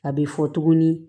A bɛ fɔ tuguni